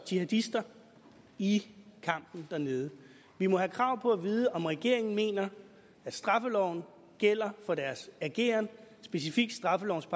jihadister i kampen dernede vi må have krav på at vide om regeringen mener at straffeloven gælder for deres ageren specifikt straffelovens